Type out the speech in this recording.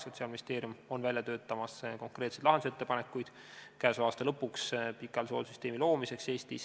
Sotsiaalministeerium töötab käesoleva aasta lõpuks välja konkreetseid lahendusettepanekuid pikaajalise hoolduse süsteemi loomiseks Eestis.